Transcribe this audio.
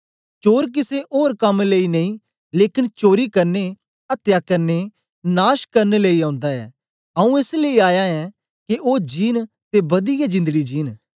चोर किसे ओर कम लेई नेई लेकन चोरी करने अत्या करने नाश करन लेई ओंदा ऐ आऊँ एस लेई आया ऐं के ओ जींन ते बदियै जिंदड़ी जींन